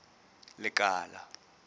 lekala